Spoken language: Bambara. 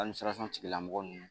tigilamɔgɔ ninnu